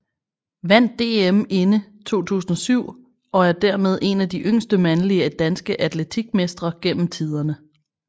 Vandt DM inde 2007 og er dermed en af de yngste mandlige danske atletik mestre gennem tiderne